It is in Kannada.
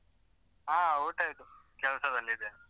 ಆ ಊಟ ಆಯ್ತು, ಕೆಲ್ಸದಲ್ಲಿದೇನೆ.